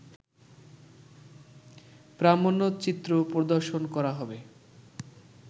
প্রামাণ্যচিত্র প্রদর্শন করা হবে